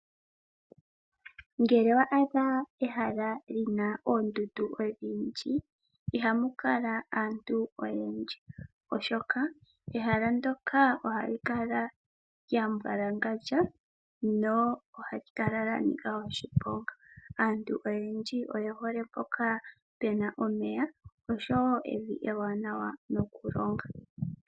Ngele owa adha ehala li na oondundu odhindji ihamu kala mu na aantu oyendji, oshoka ehala ndjoka ohali kala lya mbwalangandja nohali kala lyanika oshiponga. Aantu oyendji oye hole mpono pu na omeya osho wo evi ewanawa nokulonga.